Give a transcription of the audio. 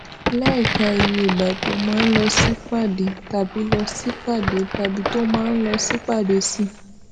láìka iye ìgbà tó máa ń lọ sípàdé tàbí lọ sípàdé tàbí tó máa ń lọ sípàdé sí